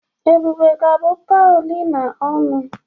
Ebube ga-abụ Paulina ọnụ.